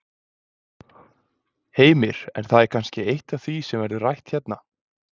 Heimir: En það er kannski eitt af því sem verður rætt hérna?